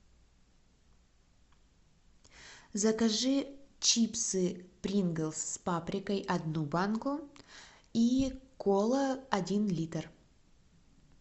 закажи чипсы принглс с паприкой одну банку и кола один литр